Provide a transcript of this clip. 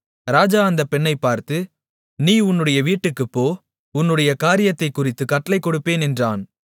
ராஜா அந்தப் பெண்ணைப் பார்த்து நீ உன்னுடைய வீட்டுக்குப் போ உன்னுடைய காரியத்தைக் குறித்து கட்டளை கொடுப்பேன் என்றான்